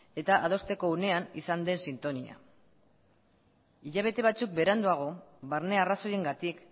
eta adosteko unean izan den sintonia hilabete batzuk beranduago barne arrazoiengatik